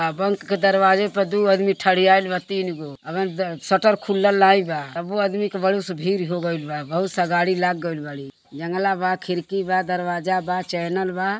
दरवाजे प दू आदमी ठरियाइल बा तीन गोअभिन के शटर खुलल नाइ बा तबो आदमी क भीड़ हो गईल बाबहुत सा गाड़ी लाग गइल बारी जंगला बा खिड़की बा दरवाजा बा चैनल बा।